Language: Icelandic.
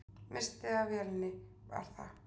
Misstir af vélinni, var það?